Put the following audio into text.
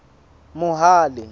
mohale